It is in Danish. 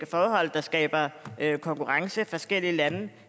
forhold der skaber konkurrence forskellige lande